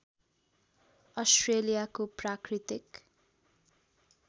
अस्ट्रेलियाको प्राकृतिक